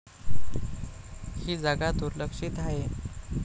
ही जागा दुर्लक्षित आहे.